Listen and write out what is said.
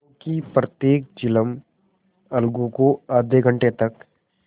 क्योंकि प्रत्येक चिलम अलगू को आध घंटे तक